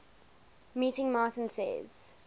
meeting martin says